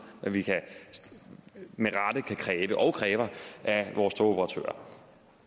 hvad vi med rette kan kræve og kræver af vores togoperatører